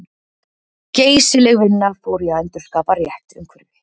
Geysileg vinna fór í að endurskapa rétt umhverfi.